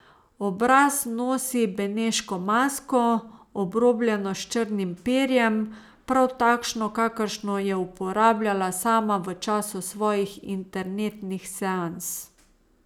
Obraz nosi beneško masko, obrobljeno s črnim perjem, prav takšno, kakršno je uporabljala sama v času svojih internetnih seans.